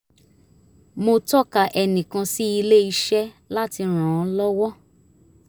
mo tọka ẹnìkan sí ilé-iṣẹ́ láti ran un lọ́wọ́